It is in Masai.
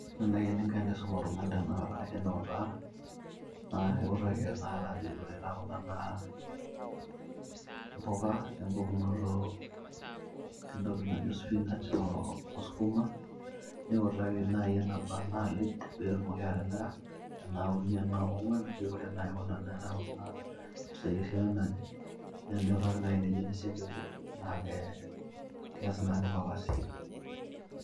Ore naai eninnko teniisum oltung'ani tene naa akaiutaa, iutaki tanakata ajoki ore kuna naa mpuka empukunoto entoki najo spinach oo sukuma, niutaki naai eneba inaalid pee etumoki atimira ena uni ena kong'wan ore naai kuna naa mpisai esiana naje niutaki naai enikuni sii ake piibung' neeku kees naake ilo kasi.